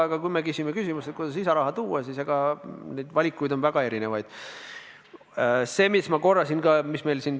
Aga kui on küsitud, kuidas lisaraha tuua, siis neid valikuid on väga erinevaid.